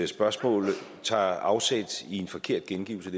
spørgsmål tager afsæt i en forkert gengivelse